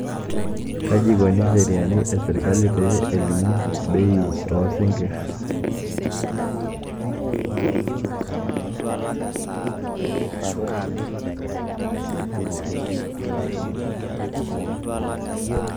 kaji ikoni incheriani e sirkali pee elimu bei oo sinkirr?